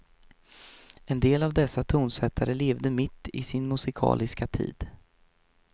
En del av dessa tonsättare levde mitt i sin musikaliska tid.